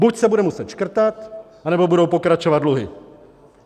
Buď se bude muset škrtat, anebo budou pokračovat dluhy.